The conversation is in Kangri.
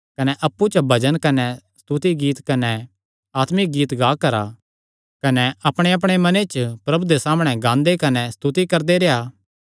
कने अप्पु च भजन कने स्तुति गीत कने आत्मिक गीत गा करा कने अपणेअपणे मने च प्रभु दे सामणै गांदे कने स्तुति करदे रेह्आ